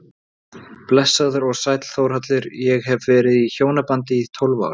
Blessaður og sæll Þórhallur, ég hef verið í hjónabandi í tólf ár.